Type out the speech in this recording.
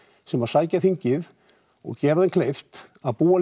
sem að sækja þingið og gera þeim líka kleift að búa